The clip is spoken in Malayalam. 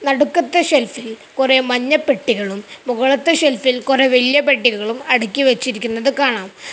നടുക്കത്തെ ഷെൽഫിൽ കൊറേ മഞ്ഞപ്പെട്ടികളും മുകളത്തെ ഷെൽഫിൽ കൊറേ വല്യ പെട്ടികളും അടുക്കി വെച്ചിരിക്കുന്നത് കാണാം.